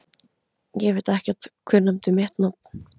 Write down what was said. Ég veit ekkert, hver nefndi mitt nafn?